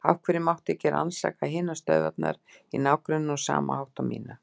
Af hverju mátti ekki rannsaka hinar stöðvarnar í ná- grenninu á sama hátt og mína?